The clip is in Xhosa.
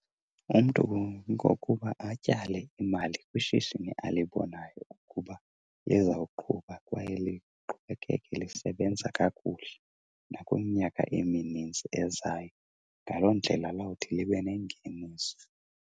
Umntu ngokuba atyale imali kwishishini alibonayo ukuba lizawuqhuba kwaye liqhubekeke lisebenza kakuhle nakwiminyaka eminintsi ezayo. Ngaloo ndlela lawuthi libe nengeniso.